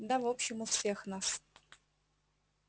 да в общем у всех нас